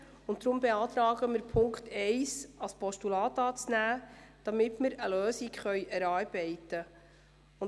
Deshalb beantragen wir Ihnen, den Punkt 1 als Postulat anzunehmen, damit wir eine Lösung erarbeiten können.